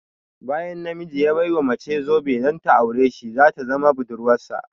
Bayan na miji ya ɓai wa mace zobe don ta aure sh ta zama budurwarsa